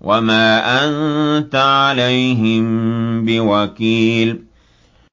وَمَا أَنتَ عَلَيْهِم بِوَكِيلٍ